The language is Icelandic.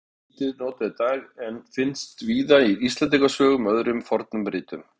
Orðið er lítið notað í dag en finnst víða í Íslendingasögum og öðrum fornum ritum.